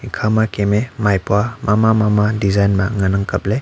ikhama kem me maipua mama mama design ma nganang kaple.